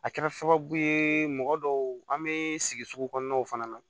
A kɛra sababu ye mɔgɔ dɔw an bɛ sigi sugu kɔnɔnaw fana na